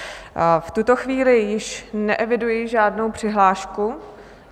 V tuto chvíli již neeviduji žádnou přihlášku...